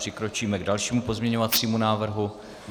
Přikročíme k dalšímu pozměňujícímu návrhu.